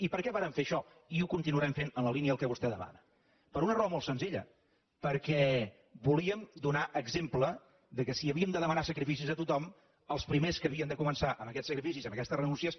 i per què vàrem fer això i ho continuarem fent en la línia del que vostè demana per una raó molt senzilla perquè volíem donar exemple que si havíem de demanar sacrificis a tothom els primers que havien de començar amb aquests sacrificis i amb aquestes renúncies